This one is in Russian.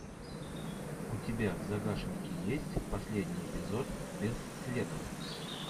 у тебя в загашнике есть последний эпизод без следа